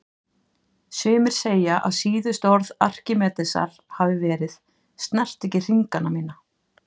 Sumir segja að síðustu orð Arkímedesar hafi verið: Snertu ekki hringana mína